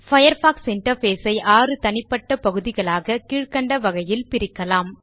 Firefox interface ஐ ஆறு தனிப்பட்ட பகுதிகளாக கீழ்கண்ட வகையில் பிரிக்கலாம்